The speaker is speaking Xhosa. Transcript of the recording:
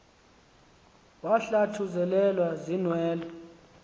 wahlathu zelelwa ziinwele